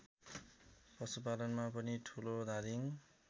पशुपालनमा पनि ठुलोधादिङ